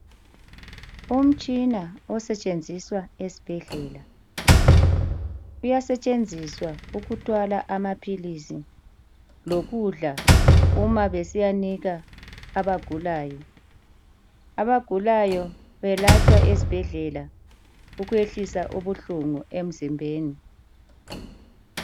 Umtshina osetshenziswa esibhedlela, uyasetshenziswa ukuthwala amaphilisi lokudla uma besiyanika abagulayo. Abagulayo belatshwa esibhedlela ukwehlisa ubuhlungu emzimbeni.